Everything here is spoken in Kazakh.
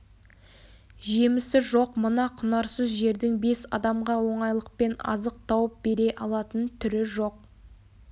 жемісі жоқ мына құнарсыз жердің бес адамға оңайлықпен азық тауып бере алатын түрі жоқ